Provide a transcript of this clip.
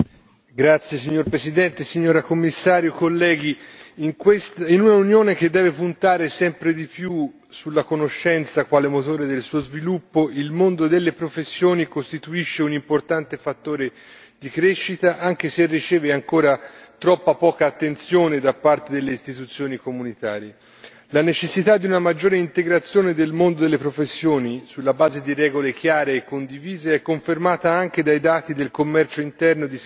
Signor Presidente, onorevoli colleghi, signora Commissario, in un'Unione che deve puntare sempre di più sulla conoscenza quale motore del suo sviluppo, il mondo delle professioni costituisce un importante fattore di crescita, anche se riceve ancora troppa poca attenzione da parte delle istituzioni comunitarie. La necessità di una maggiore integrazione del mondo delle professioni, sulla base di regole chiare e condivise, è confermata anche dai dati del commercio interno di servizi